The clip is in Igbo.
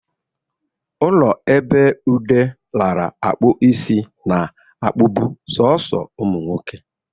Ụlọ ebe Ude nara -akpụ isi na -akpụbụ soso ụmụ nwoke.